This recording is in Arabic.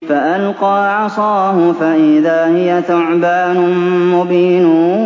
فَأَلْقَىٰ عَصَاهُ فَإِذَا هِيَ ثُعْبَانٌ مُّبِينٌ